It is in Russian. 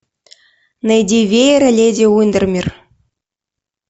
найди веер леди уиндермир